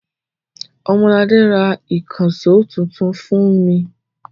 Ọmọladé ra ìkànṣó tuntun fún mi.